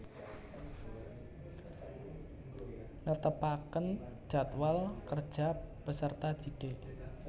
Netepaken jadwal kerja peserta didik